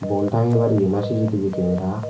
boul tangebar yen i C_C_T_V kemera.